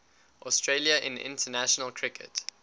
australia in international cricket